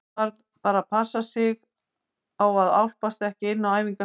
Maður varð bara að passa sig á að álpast ekki inn á æfingasvæðin.